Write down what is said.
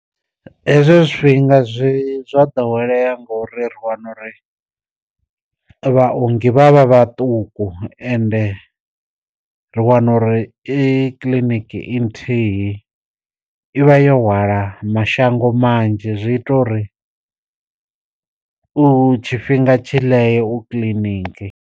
Hezwo zwifhinga zwi zwa ḓowelea ngori ri wana uri vha ongi vhavha vhaṱuku ende ri wana uri i kiḽiniki i nthihi i vha yo hwala mashango manzhi, zwi ita uri u tshifhinga tshi ḽee u kiḽiniki.